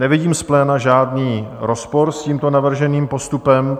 Nevidím z pléna žádný rozpor s tímto navrženým postupem.